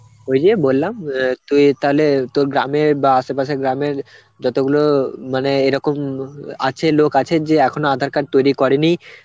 ওই যে বললাম অ্যাঁ তুই তালে তোর গ্রামে বা আশেপাশের গ্রামের যতগুলো মানে এরকম ম~ আছে লোক আছে যে এখনো aadhar card তৈরি করেনি